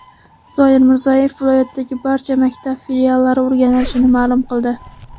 Zoir Mirzayev viloyatdagi barcha maktab filiallari o‘rganilishini ma’lum qildi.